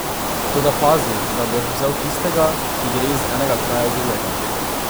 Toda pazi, da boš vzel tistega, ki gre iz enega kraja v drugega.